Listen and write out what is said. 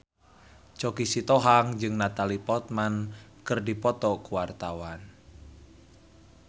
Choky Sitohang jeung Natalie Portman keur dipoto ku wartawan